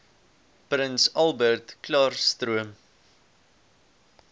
prins albertklaarstroom